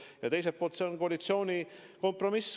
Ja teiselt poolt see on koalitsiooni kompromiss.